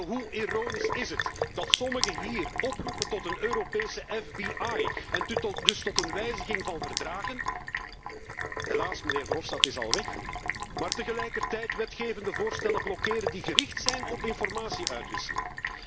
Hoe ironisch is het dat sommigen hier oproepen tot een Europese FBI en dus tot een wijziging van verdragen mijnheer Verhofstadt is helaas al weg maar tegelijkertijd wetgevende voorstellen blokkeren die gericht zijn op informatie uitwisseling?